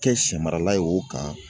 Kɛ sɛ marala ye o kan